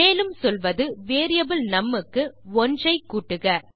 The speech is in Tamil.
மேலும் சொல்வது வேரியபிள் நும் க்கு 1 ஐ கூட்டுக